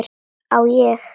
Á ég.?